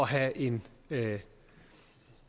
have en